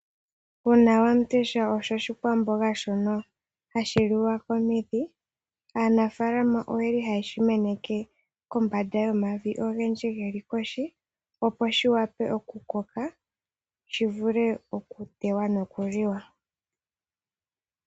Uunawandesha osho oshikwamboga shono hashi liwa komidhi. Aanafaalama oye li haye shi meneke kombanda yomavi ogendji ge li kohi, opo shi wape oku koka shi vule okutewa nokuliwa.